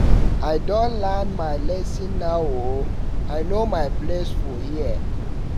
I don learn my lesson now o, I know my place for here.